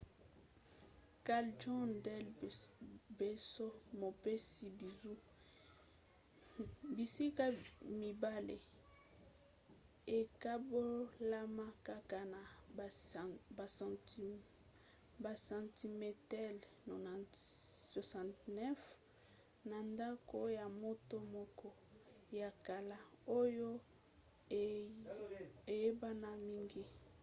callejon del beso mopesi bizu. bisika mibale ekabolama kaka na basentimetele 69 na ndako ya moto moko ya kala oyo ayebana mingi